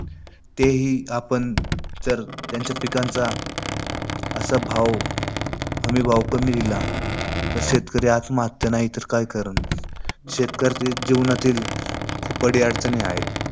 तेही आपण त्यांच्या पिकांचा असा भाव हमीभाव कमी दिला, तर शेतकरी आत्महत्या नाहीतरं काय करलं? शेतकरी जीवनातील खूप अडी अडचणी आहेत.